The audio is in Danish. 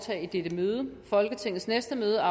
med